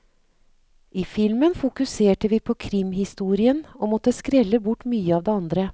I filmen fokuserte vi på krimhistorien og måtte skrelle bort mye av det andre.